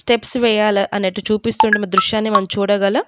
Steps వెయ్యాల అన్నెట్టు చూపిస్తున్న మ దృశ్యాన్ని మనం చూడగలం.